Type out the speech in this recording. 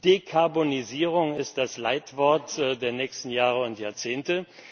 Dekarbonisierung ist das Leitwort der nächsten Jahre und Jahrzehnte.